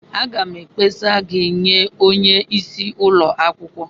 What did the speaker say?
Aga m ekpesa gị nye onye isi ụlọ akwukwo.